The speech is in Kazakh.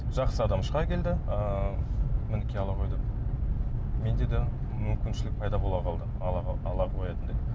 жақсы адам шыға келді ыыы мінекей ала ғой деп менде де мүмкіншілік пайда бола қалды ала қоятындай